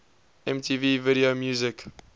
mtv video music